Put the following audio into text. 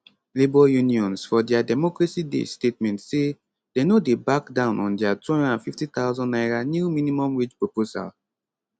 labour unions for dia democracy day statement say dem no dey back down on dia 250000 naira new minimum wage proposal